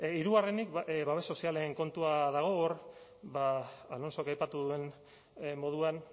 hirugarrenik babes sozialen kontua dago hor alonsok aipatu duen moduan